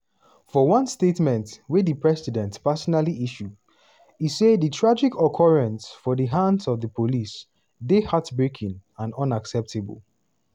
for one statement wey di president personally issue e say "di tragic occurrence for di hands of di police dey heart-breaking and unacceptable."